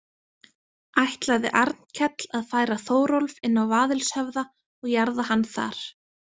Ætlaði Arnkell að færa Þórólf inn á Vaðilshöfða og jarða hann þar.